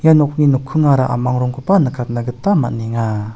ia nokni nokkingara a·mang rongkoba nikatna gita man·enga.